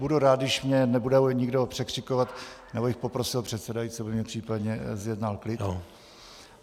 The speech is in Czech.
Budu rád, když mě nebude nikdo překřikovat, nebo bych poprosil předsedajícího, aby mi případně zjednal klid.